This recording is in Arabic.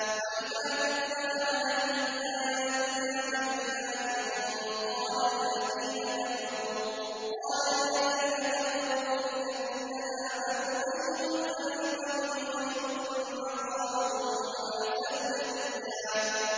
وَإِذَا تُتْلَىٰ عَلَيْهِمْ آيَاتُنَا بَيِّنَاتٍ قَالَ الَّذِينَ كَفَرُوا لِلَّذِينَ آمَنُوا أَيُّ الْفَرِيقَيْنِ خَيْرٌ مَّقَامًا وَأَحْسَنُ نَدِيًّا